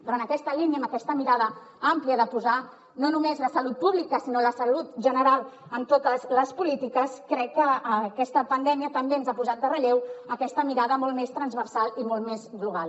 però en aquesta línia amb aquesta mirada àmplia de posar no només la salut pública sinó la salut general en totes les polítiques crec que aquesta pandèmia també ens ha posat en relleu aquesta mirada molt més transversal i molt més global